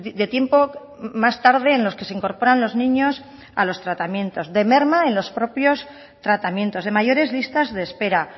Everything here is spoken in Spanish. de tiempo más tarde en los que se incorporan los niños a los tratamientos de merma en los propios tratamientos de mayores listas de espera